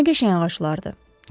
Nə qəşəng ağaclardır?